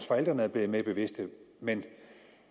forældrene er blevet mere bevidste men